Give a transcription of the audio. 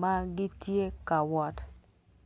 ma gitye ka wot